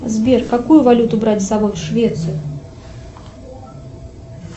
сбер какую валюту брать с собой в швецию